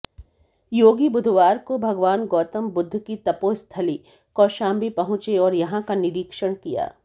योगी बुधवार को भगवान गौतमबुद्ध की तपोस्थली कौशाम्बी पहुंचे और यहां का निरीक्षण किया